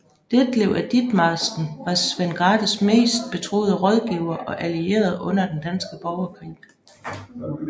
Detlev af Ditmarsken var Svend Grathes mest betroede rådgiver og allierede under Den danske Borgerkrig